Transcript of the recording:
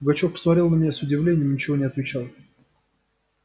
пугачёв посмотрел на меня с удивлением и ничего не отвечал